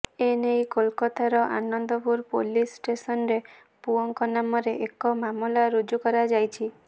ଏ ନେଇ କୋଲକାତାର ଆନନ୍ଦପୁର ପୁଲିସ ଷ୍ଟେସନରେ ପୁଅଙ୍କ ନାମରେ ଏକ ମାମଲା ରୁଜ କରାଯାଇଛି